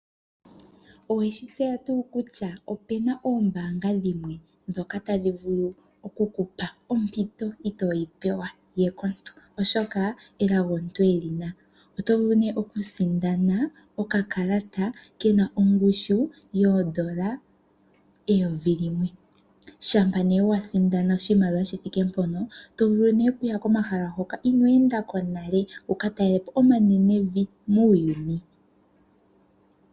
Oweshi tseya tuu kutya opena oombanga dhimwe dhoka tadhi vulu okuku pa ompito ndjoka oho yi pewa we komuntu gumwe